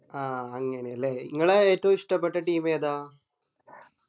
ആഹ് അങ്ങനെ അല്ലെ ഇങ്ങളെ ഏറ്റോ ഇഷ്ടപെട്ട team ഏതാ